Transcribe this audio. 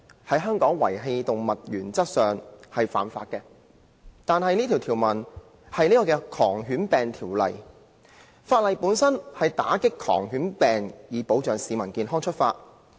在香港遺棄動物原則上是犯法，但《狂犬病條例》旨在打擊狂犬病，以保障市民健康出發。